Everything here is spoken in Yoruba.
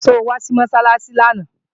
So wá sí Mọ́sálásí lánàá?